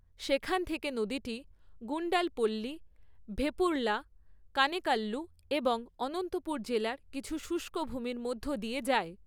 সেখান থেকে নদীটি গুন্ডালপল্লি, ভেপুরলা, কানেকাল্লু এবং অনন্তপুর জেলার কিছু শুষ্ক ভূমির মধ্য দিয়ে যায়।